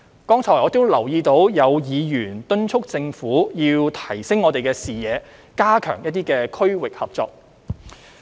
剛才我留意到有議員敦促政府要提升視野，加強區域合作。